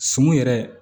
Sun yɛrɛ